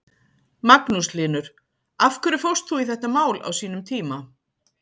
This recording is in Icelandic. Magnús Hlynur: Af hverju fórst þú í þetta mál á sínum tíma?